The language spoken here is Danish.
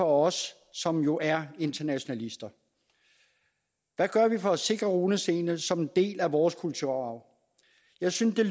os som jo er internationalister hvad gør vi for at sikre runestenene som en del af vores kulturarv jeg synes at